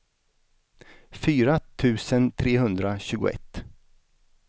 fyra tusen trehundratjugoett